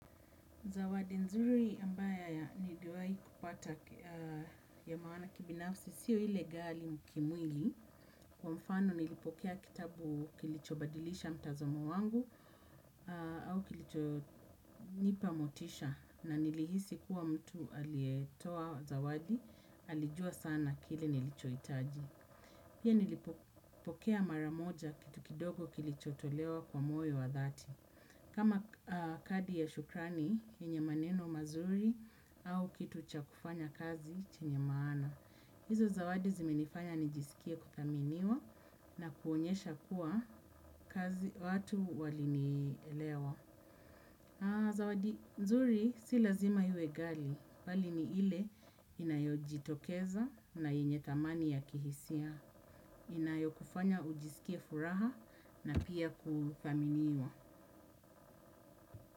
Zawadi nzuri ambayo niliwai kupata ya maana kibinafsi siyo ile ghali kimwili. Kwa mfano nilipokea kitabu kilicho badilisha mtazamo wangu au kilichonipa motisha na nilihisi kuwa mtu aliyjetoa zawadi, alijua sana kile nilichohitaji. Pia nilipokea maramoja kitu kidogo kilicho tolewa kwa moyo wa dhati. Kama kadi ya shukrani, yenye maneno mazuri au kitu cha kufanya kazi chenye maana. Izo zawadi zimenifanya nijisikie kuthaminiwa na kuonyesha kuwa kazi watu walinielewa. Zawadi nzuri sio lazima iwe ghali, mbali ni ile inayojitokeza na yenye thamani ya kihisia. Inayo kufanya ujisikie furaha na pia kuthaminiwa.